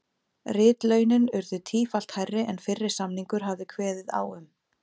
Ritlaunin urðu tífalt hærri en fyrri samningur hafði kveðið á um.